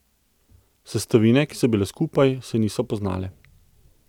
Sestavine, ki so bile skupaj, se niso poznale.